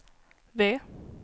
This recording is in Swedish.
V